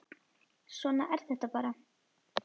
Svona er þetta bara.